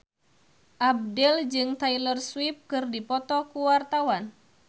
Abdel jeung Taylor Swift keur dipoto ku wartawan